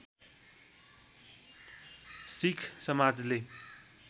सिक्ख समाजले